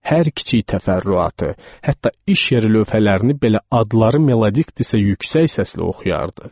Hər kiçik təfərrüatı, hətta işarə lövhələrini belə adları melodiqdirsə yüksək səsli oxuyardı.